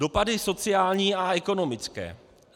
Dopady sociální a ekonomické.